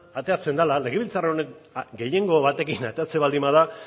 ateratzen dela legebiltzar honek gehiengo batekin ateratzen baldin bada